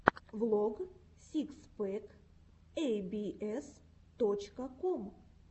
влог сикс пэк эй би эс точка ком